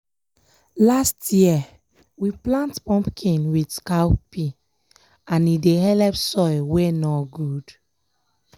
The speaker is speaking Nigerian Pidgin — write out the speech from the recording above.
last year we plant pumpkin with cowpea and e dey helep soil wey nor good.